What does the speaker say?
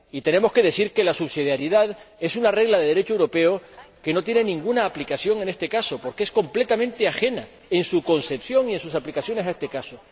Y tenemos que decir que la subsidiariedad es una regla del Derecho europeo que no tiene ninguna aplicación en este caso, porque es completamente ajena en su concepción y en sus aplicaciones a este caso.